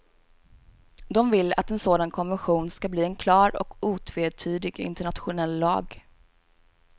De vill att en sådan konvention ska bli en klar och otvetydig internationell lag.